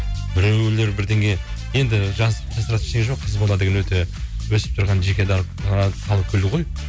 біреулер бірдеңе енді жасыратыны ештеңе жоқ қыз бала деген өте өсіп тұрған жеке ы халық гүлі ғой